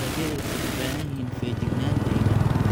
Dalagyadu waxay u baahan yihiin feejignaan deegaan.